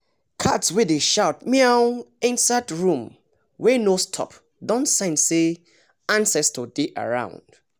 cat wey dey shout meown inside room wey no stop don sense say ancestor dey around